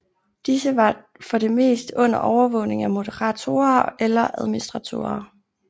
Disse var for det meste under overvågning af moderatorer eller administratorer